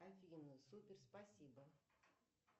афина супер спасибо